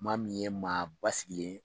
Maa min ye maa basisigilen ye